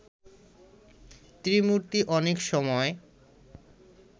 ত্রিমূর্তি অনেক সময়